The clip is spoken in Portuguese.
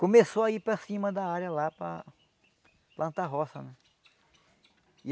Começou a ir para cima da área lá para plantar roça, né?